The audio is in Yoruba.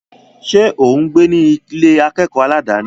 Ṣé ò ń gbé ní Ilé akẹ́kọ̀ọ́ aládàni ni?